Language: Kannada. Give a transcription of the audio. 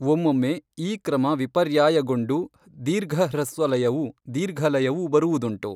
ಒಮ್ಮೊಮ್ಮೆ ಈ ಕ್ರಮ ವಿಪರ್ಯಾಯಗೊಂಡು ದೀರ್ಘಹ್ರಸ್ವಲಯವೂ, ದೀರ್ಘಲಯವೂ ಬರುವುದುಂಟು.